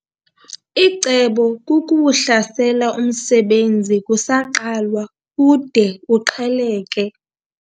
Icebo kukuwuhlasela umsebenzi kusaqalwa ude uqheleke.